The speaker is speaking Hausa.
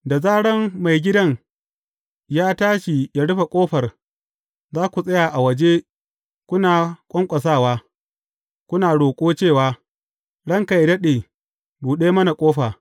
Da zaran maigidan ya tashi ya rufe ƙofar, za ku tsaya a waje kuna ƙwanƙwasawa, kuna roƙo cewa, Ranka yă daɗe, buɗe mana ƙofa.’